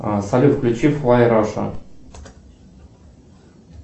салют включи флай раша